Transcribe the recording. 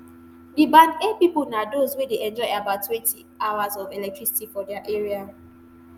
di band a pipo na those wey dey enjoy about twenty hours of electricity for dia area